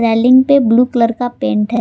पे blue colour का paint है।